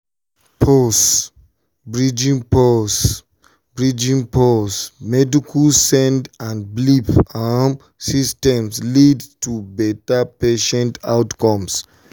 pause — bridging pause — bridging pause medical send and belief um systems leads to betta patient outcomes